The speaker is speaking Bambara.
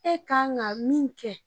E kan ka min kɛ.